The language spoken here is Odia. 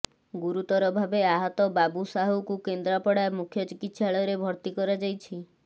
ଗୁରୁତର ଭାବେ ଆହତ ବାବୁ ସାହୁକୁ କେନ୍ଦ୍ରାପଡା ମୁଖ୍ୟ ଚିକିତ୍ସାଳୟରେ ଭର୍ତ୍ତି କରାଯାଇଛି